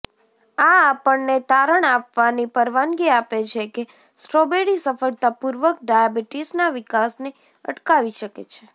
આ આપણને તારણ આપવાની પરવાનગી આપે છે કે સ્ટ્રોબેરી સફળતાપૂર્વક ડાયાબિટીસના વિકાસને અટકાવી શકે છે